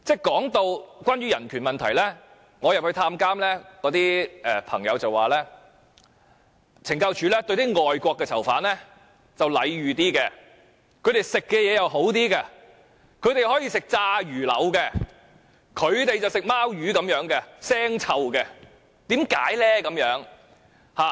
談到有關人權問題，我到監獄探監，那些囚友告訴我，懲教署對外國的囚犯較為禮遇，他們膳食也較好，例如可以吃炸魚柳，而本地囚友卻要吃腥臭的"貓魚"。